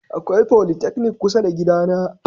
Akwai folytechnic kusa da gidana.